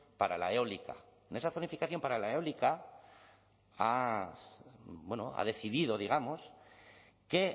para la eólica en esa zonificación para la eólica ha decidido digamos que